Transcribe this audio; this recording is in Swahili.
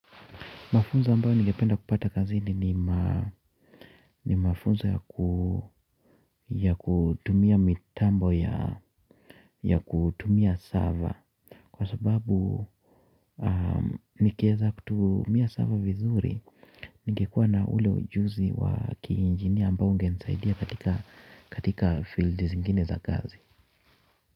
Mafunzo ambayo ningependa kupata kazini ni mafunzo ya kutumia mitambo ya kutumia server. Kwa sababu nikieza kutumia server vizuri, ningekuwa na ule ujuzi wa kiinjinia ambao ungenisaidia katika fields zingine za kazi.